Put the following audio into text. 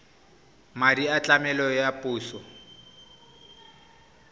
madi a tlamelo a puso